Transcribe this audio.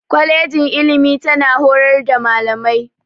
Kwalejin ilimi tana horar da Malamai.